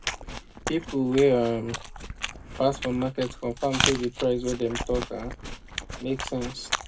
people wey um pass for market confirm say the price wey dem talk um make sense